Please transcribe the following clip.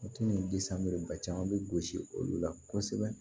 ba caman bɛ gosi olu la kosɛbɛ